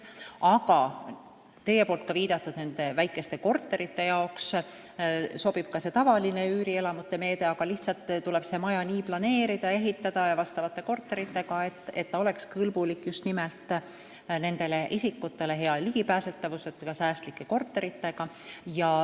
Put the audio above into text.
Aga teie viidatud väikeste korterite jaoks sobib ka tavaline üürielamute meede, lihtsalt tuleb maja niimoodi planeerida ja ehitada, et sealsed korterid oleksid kõlblikud just nimelt nendele isikutele, hea ligipääsetavusega ja säästlikud.